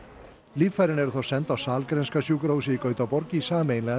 líffærin eru þá send á Sahlgrenska sjúkrahúsið í Gautaborg í sameiginlegan